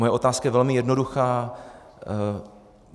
Moje otázka je velmi jednoduchá.